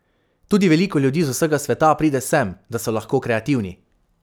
Tudi veliko ljudi z vsega sveta pride sem, da so lahko kreativni.